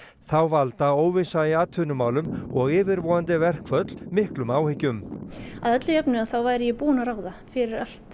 þá valda óvissa í atvinnumálum og yfirvofandi verkföll miklum áhyggjum að öllu jöfnu þá værum ég búin að ráða fyrir allt